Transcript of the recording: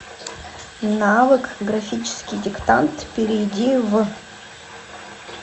навык графический диктант перейди в